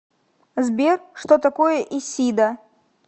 сбер что такое исида